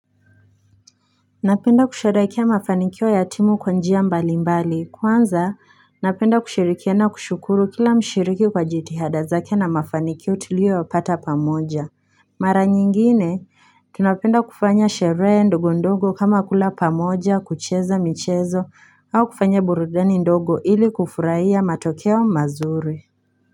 Napenda kusherehekea mafanikio yangu kwa njia mbalimbali kwanza. Napenda kushirikiana kushukuru kila mshiriki kwa jitihada zake na mafanikio tuliyoyapata pamoja mara nyingine. Tunapenda kufanya sherehe ndogo ndogo kama kula pamoja, kucheza michezo au kufanya burudani ndogo ili kufurahia matokeo mazuri.